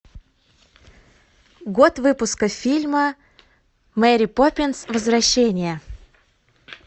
год выпуска фильма мэри поппинс возвращение